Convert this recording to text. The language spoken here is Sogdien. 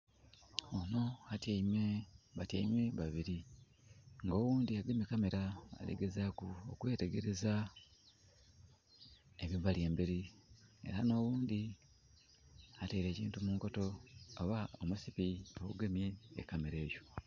Onho atyaime, batyaime babili. Nga oghundhi agemye camera, ali gezaaku okwetegeleza ebibali embeli, era nh'oghundhi ataile ekintu munkoto oba omusipi ogugemye e camera eyo.